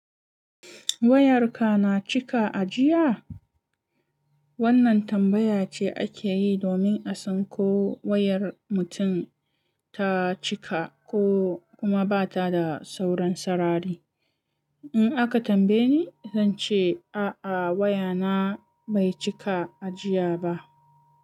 "Wayarka na cika a jiya?" Wannan tambaya ce ake yi domin a san ko wayar mutum ta cika ko kuma ba ta da sauran sarari. In aka tambaye ni, zan ce, "A'a wayana bai cika a jiya ba."